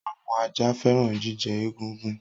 Awọn aja fẹran jijẹ egungun.